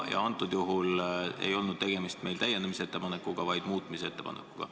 Kõnealusel juhul ei olnud meil tegemist täiendamise ettepanekuga, vaid muutmise ettepanekuga.